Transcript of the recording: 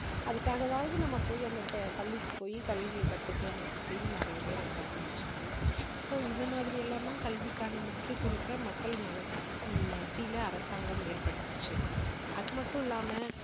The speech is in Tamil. அதுக்காகவாவது நம்ம போய் அந்த ப~ பள்ளிக்கு போய் கல்வி கத்துக்கலாம் அப்படின்னு நிறைய பேர் வர ஆரம்பிச்சாங்க so இந்த மாதிரி எல்லாம் தான் கல்விக்கான முக்கியத்துவத்தை மக்கள் மனசு~ மத்தியில அரசாங்கம் ஏற்படுத்துச்சு அது மட்டும் இல்லாம